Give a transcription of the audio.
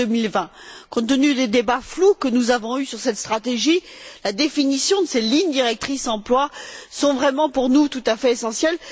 2020. Compte tenu des débats flous que nous avons eus sur cette stratégie, la définition de ces lignes directrices emploi est vraiment, pour nous, tout à fait essentielle